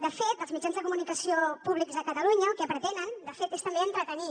de fet els mitjans de comunicació públics a catalunya el que pretenen és també entretenir